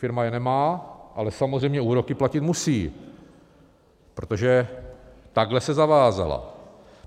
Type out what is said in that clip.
Firma je nemá, ale samozřejmě úroky platit musí, protože takhle se zavázala.